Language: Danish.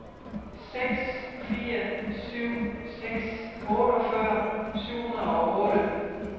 seks fire syv seks otteogfyrre syv hundrede og otte